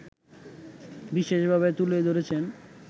বিশেষ ভাবে তুলে ধরেছেন